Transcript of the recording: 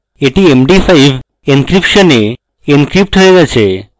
এটি md5 encryption এ encrypted হয়ে গেছে